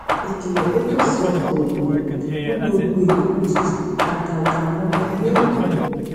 ìkìlò pé kò sí ọkò èrò mú gbogbo èèyàn lójijì àgàgà àwọn ọmọ iléèwé